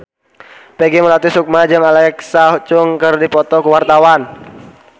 Peggy Melati Sukma jeung Alexa Chung keur dipoto ku wartawan